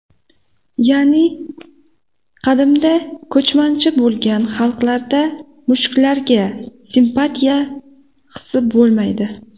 Ya’ni qadimda ko‘chmanchi bo‘lgan xalqlarda mushuklarga simpatiya hisi bo‘lmaydi.